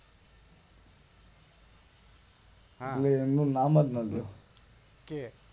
હા એટલે એમનું નામ જ ન લેવું